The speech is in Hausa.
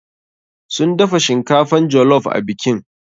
Sun dafa shinkafan jollof a bikin.